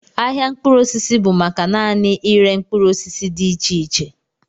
Ahịa mkpụrụ osisi bụ maka naanị ịre mkpụrụ osisi dị iche iche